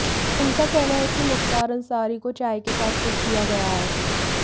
उनका कहना है कि मुख्तार अंसारी को चाय के साथ कुछ दिया गया है